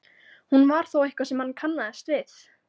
Hún var þó eitthvað sem hann kannaðist við.